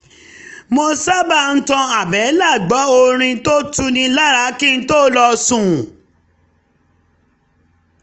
mo sábà ń tan àbẹ́là gbọ́ orin tó tuni lára kí n tó lọ sùn